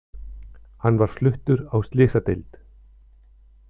Hann var fluttur á slysadeild